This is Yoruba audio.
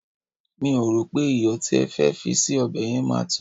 mi o ro pe iyo ti ì fe fi sí obe yen ma to